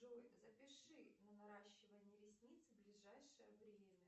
джой запиши на наращивание ресниц в ближайшее время